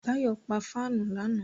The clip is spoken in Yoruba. Báyọ̀ pa fáànù lánàá